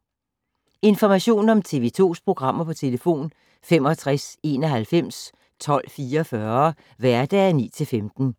Information om TV 2's programmer: 65 91 12 44, hverdage 9-15.